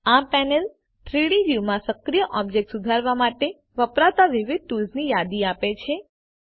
આ પેનલ 3ડી વ્યૂમાં સક્રિય ઓબ્જેક્ટ સુધારવા માટે વપરાતા વિવિધ ટુલ્સની યાદી આપે છે